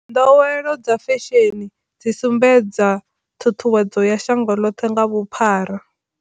Nḓowelo dza fesheni dzi sumbedza thuthuwedzo ya shango ḽoṱhe nga vhuphara.